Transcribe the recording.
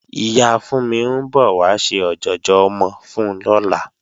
Ìyá Fúnmi ń bọ̀ wá ṣe ọ̀jọ̀jọ̀ ọmọ fún lọ́la